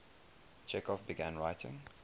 chekhov began writing